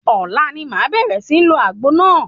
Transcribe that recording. Ọ̀la ni màá bẹ̀rẹ̀ sí ń lo àgbo náà.